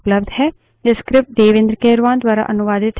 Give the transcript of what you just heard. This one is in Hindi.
अधिक जानकारी हमारी website पर उपलब्ध है